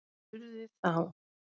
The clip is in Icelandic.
Spurði þá